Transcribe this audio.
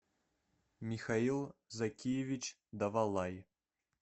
михаил закиевич давалай